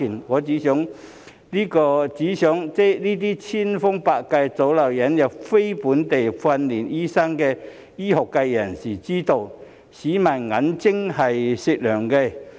我只想這些千方百計阻撓引入非本地訓練醫生的醫學界人士知道，市民的眼睛是雪亮的。